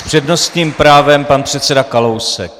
S přednostním právem pan předseda Kalousek.